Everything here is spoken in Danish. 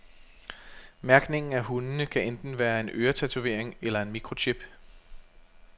Mærkningen af hundene kan enten være en øretatovering eller en mikrochip.